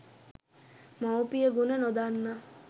මවුපියගුණ නොදන්නා